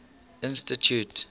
institute